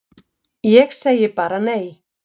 Ég segi bara nei!